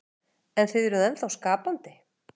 Hugrún: En þið eruð ennþá skapandi?